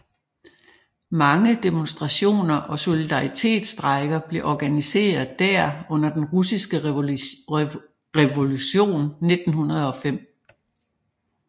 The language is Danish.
Mange demonstrationer og solidaritetsstrejker blev organiseret der under Den Russiske Revolution 1905